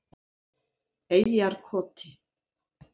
Eyjarkoti